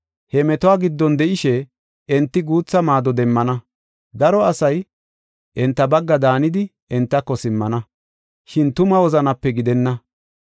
He metuwa giddon de7ishe, enti guutha maado demmana; daro asay enta bagga daanidi, entako simmana; shin tuma wozanape gidenna.